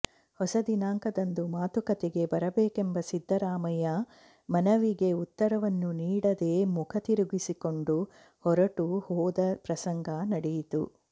ಹೊಸ ದಿನಾಂಕದಂದು ಮಾತುಕತೆಗೆ ಬರಬೇಕೆಂಬ ಸಿದ್ದರಾಮಯ್ಯ ಮನವಿಗೆ ಉತ್ತರವನ್ನೂ ನೀಡದೆ ಮುಖ ತಿರುಗಿಸಿಕೊಂಡು ಹೊರಟು ಹೋದ ಪ್ರಸಂಗ ನಡೆಯಿತು